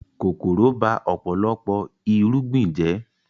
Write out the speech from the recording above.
Kòkòrò ba ọ̀pọ̀lọpọ̀ irúgbìn jẹ́